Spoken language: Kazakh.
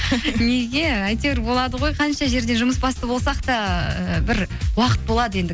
неге әйтеуір болады ғой қанша жерден жұмыс басты болсақ та ііі бір уақыт болады енді